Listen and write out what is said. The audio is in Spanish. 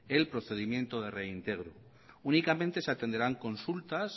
el procedimiento de reintegro únicamente se atenderán consultas